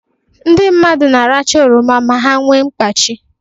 Ndị mmadụ na-aracha oroma ma ha nwe mkpachi